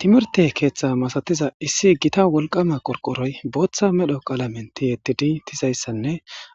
Timirte keeththa masatiza issi gita wolqama qorqoroy booththa medho qalamen tiyettidi tizayssanne